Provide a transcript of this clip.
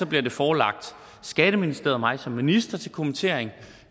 bliver det forelagt skatteministeriet og mig som minister til kommentering